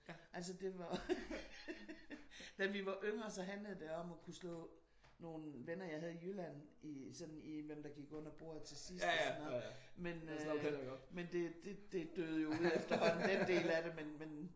Altså den var da vi var yngre så handlede det om at kunne slå nogle venner jeg havde i Jylland i sådan i hvem der gik under bordet til sidst og sådan noget. Men øh det det det døde jo ud efterhånden den del af det men men